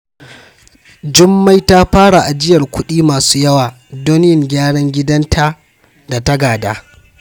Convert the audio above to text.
Jummai ta fara ajiyar kudi masu yawa don yin gyaran gidan da ta gada.